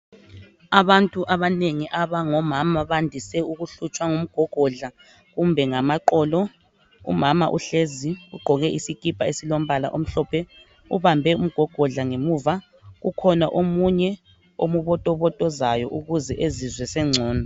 Abantu abanengi abangomama bandise ukuhlotshwa ngumgogodla kumbe ngamaqolo umama uhlezi ugqoke isikipa esilombala omhlophe ubambe umgogodla ngemuva ukhona omunye ombotobotozayo ukuze ezizwe sengcono.